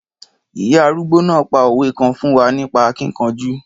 Ìya arúgbó náà pa òwe kan fún wa nípa akíkanjú.